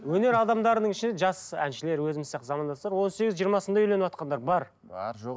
өнер адамдарының ішінде жас әншілер өзіміз сияқты замандастар он сегіз жиырмасында үйленіватқандар бар бар жоқ